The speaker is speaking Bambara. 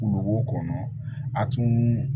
Wolonbo kɔnɔ a tun